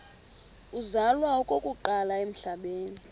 uzalwa okokuqala emhlabeni